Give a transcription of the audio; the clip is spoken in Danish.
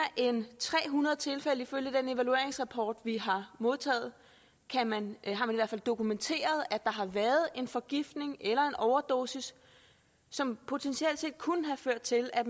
end tre hundrede tilfælde ifølge den evalueringsrapport vi har modtaget har man i hvert fald dokumenteret at der har været en forgiftning eller en overdosis som potentielt kunne have ført til at